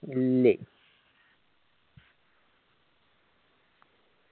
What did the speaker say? ഇല്ലെ